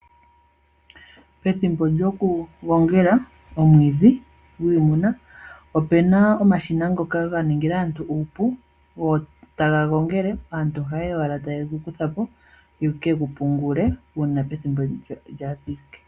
Pethimbo lyoku gongela omwiidhi gwiimuna opena omashina ngoka ga ningila aantu oshipu ogo taga gongele aantu ohayeya owala taye gu kuthapo ye ke gu pungule uuna pethimbo lyathika.